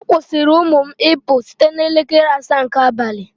A kwụsịrị ụmụ m ịpụ site n'elekere asaa nke abalị